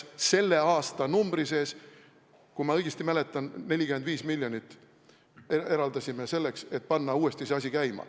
Selle aastanumbri sees, kui ma õigesti mäletan, me eraldasime 45 miljonit, et panna uuesti see asi käima.